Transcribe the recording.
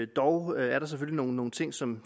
dog er der selvfølgelig nogle ting som